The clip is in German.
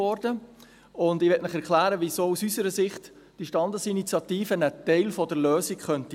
Ich möchte Ihnen erklären, weshalb diese Standesinitiative aus unserer Sicht ein Teil der Lösung sein könnte.